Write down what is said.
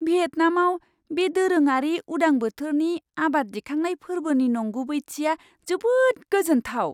भियेटनामआव बे दोरोङारि उदां बोथोरनि आबाद दिखांनाय फोर्बोनि नंगुबैथिया जोबोद गोजोन्थाव!